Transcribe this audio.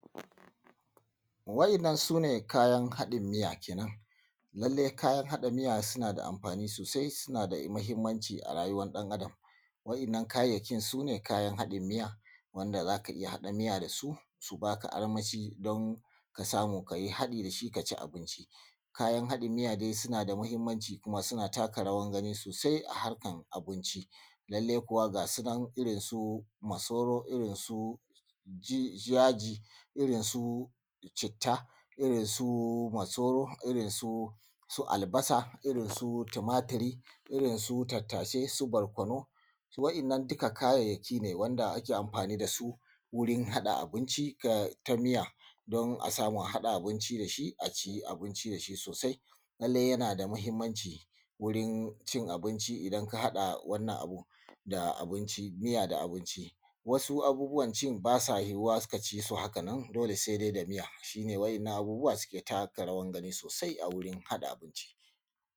Waɗannan su ne kayan haɗin miya kenan, lallai kayan hada miya suna da amfani sosai suna mahimmanci a rayuwa ɗan Adam. Waɗannan kayayyaki su ne kayan haɗin miya wanda za ka iya haɗa miya da su, su ba ka armashi ka samu ka yi haɗi da shi ka ci abinci. Kayan haɗin miya dai suna da mahimmanci kuma suna taka rawar gani sosai a harkar abinci lallai kuwa ga su nan irin su; masoro irinsu yaji, irinsu citta irinsu masoro irinsu albasa da irinsu tumatur da irinsu tattasai da irinsu barkonu. Waɗannan duk kayayyaki ne wanda ake amfani da su wurin haɗa abunci ta miya don a samu a haɗa abunci da shi sosai Lallai yana da mahimmanci wurin cin abinci idan ka haɗa wannan abu da abunci miya da abunci. Wasu abubuwan ci ba sa yuwuwa ka ci su haka nan dole sai dai da miya shi ne waɗannan abubuwa suke taka rawan gani sosai a wurin haɗa abunci.